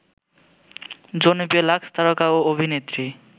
জনপ্রিয় লাক্সতারকা ও অভিনেত্রী